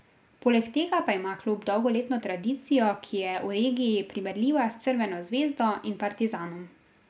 Poleg tega pa ima klub dolgoletno tradicijo, ki je v regiji primerljiva s Crveno zvezdo in Partizanom.